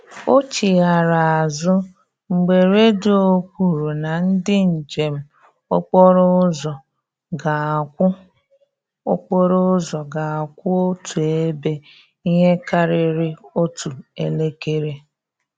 O chighara azụ mgbe redio kwuru na ndị njem okporo ụzọ ga-akwụ okporo ụzọ ga-akwụ otu ebe ihe karịrị otu elekere